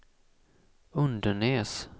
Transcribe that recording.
Undenäs